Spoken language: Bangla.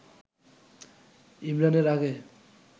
ইমরান এর আগে